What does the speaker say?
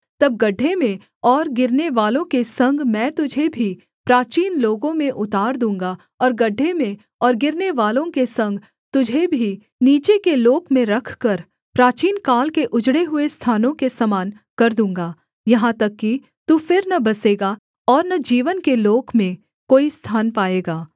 तब गड्ढे में और गिरनेवालों के संग मैं तुझे भी प्राचीन लोगों में उतार दूँगा और गड्ढे में और गिरनेवालों के संग तुझे भी नीचे के लोक में रखकर प्राचीनकाल के उजड़े हुए स्थानों के समान कर दूँगा यहाँ तक कि तू फिर न बसेगा और न जीवन के लोक में कोई स्थान पाएगा